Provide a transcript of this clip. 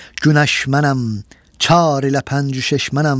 Günəş mənəm, çar ilə pənc-ü-şeş mənəm.